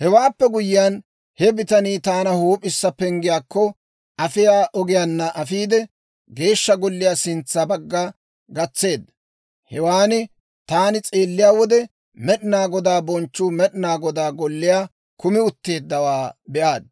Hewaappe guyyiyaan, he bitanii taana Huup'issa Penggiyaakko afiyaa ogiyaanna afiide, Geeshsha Golliyaa sintsa bagga gatseedda. Hewan taani s'eelliyaa wode, Med'inaa Godaa bonchchuu Med'inaa Godaa Golliyaa kumi utteeddawaa be'aad;